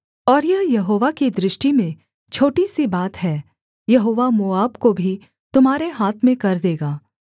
और यह यहोवा की दृष्टि में छोटी सी बात है यहोवा मोआब को भी तुम्हारे हाथ में कर देगा